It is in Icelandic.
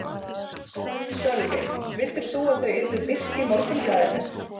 Sölvi: Vildir þú að þau yrðu birt í Morgunblaðinu?